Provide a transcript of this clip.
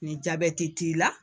Nin t'i la,